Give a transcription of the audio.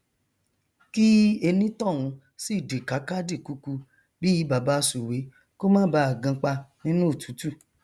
kí enítọhún sì dìkáká dìkuku bíi baba sùwé kó má baà ganpa nínú òtútù